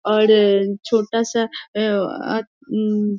और छोटा सा अ अ अम --